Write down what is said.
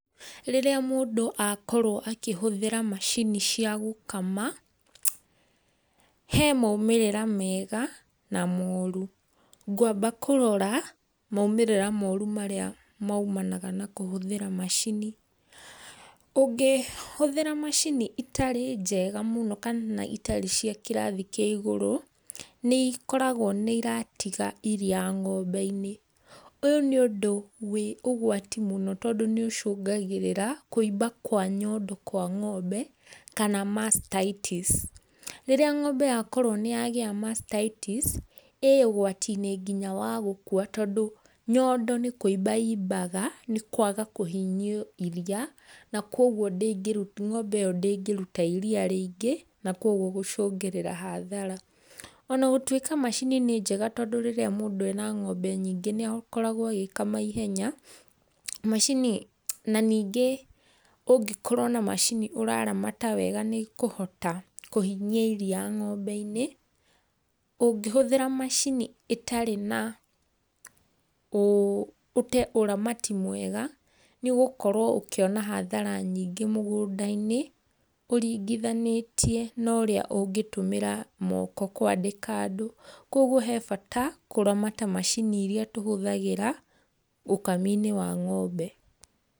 Rĩrĩa mũndũ akorwo akĩhũthĩra macini cia gũkama, he maumĩrĩra mega na moru, ngwamba kũrora maumĩrĩra moru marĩa maũmana na kũhũthĩra macini. Ũngĩhũthĩra macini itarĩ njega mũno kana itarĩ cia kĩrathi kĩa ĩgũru, nĩ ikoragwo nĩ iratiga irĩa ng'ombe-inĩ, ũyũ nĩ ũndũ wĩ ũgwati mũno tondũ nĩ ũcũgagĩrĩra kũiba kwa nyondo kwa ng'ombe kana mastitis, rĩrĩa ng'ombe yakorwo nĩ yagĩa mastitis, ĩ ũgwati-inĩ nginya wa gũkũa, tondũ nyondo nĩ kũimba imbaga, nĩ kwaga kũhinyio irĩa na koguo ng'ombe ĩyo ndĩgĩrũta irĩa rĩingĩ, na koguo gũcũgĩrĩra hathara. Ona gũtuĩka macini nĩ njega, tondũ rĩrĩa mũndũ ena ng'ombe nyingĩ nĩ akoragwo agĩkama ihenya, macini, na ningĩ ũngĩkorwo na macini ũraramata wega nĩkũhota kũhinyia iria ng'ombe-inĩ, ũngĩhũthĩra macini ĩtarĩ ũramati mwega nĩ ũgũkorwo ũkiona hathara nyingĩ mũgũnda-inĩ ũringithanĩtie na ũrĩa ũngĩtũmĩra moko kwandĩka andũ, koguo he bata kũramata macini irĩa tũhũthagĩra ũkami-inĩ wa ng'ombe.